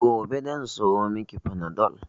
Gobe zan siyo mi ki fanadol